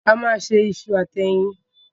A máa se iṣu àti ẹyin.